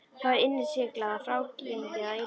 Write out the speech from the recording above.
Það var innsiglað og frágengið að eilífu.